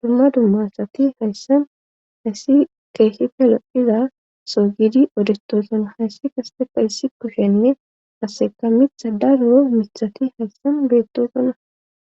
Dumma dummasati hayssam hayssi keeshshite loiza soo gidi odestoosona hayssi kasete fa hyssi kushenne aseka mitha daro mithati hayssan beettosuna